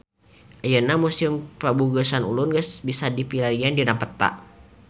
Ayeuna Museum Prabu Geusan Ulun tiasa dipilarian dina peta